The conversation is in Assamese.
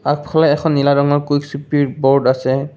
আগফালে এখন নীলা ৰঙৰ বৰ্ড আছে।